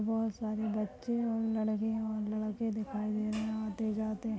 बहुत सारे बच्चे है। लडके और लड़ते दिखाई दे रहे है। आतेजाते --